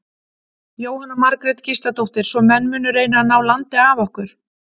Jóhanna Margrét Gísladóttir: Svo menn munu reyna að ná landi af okkur?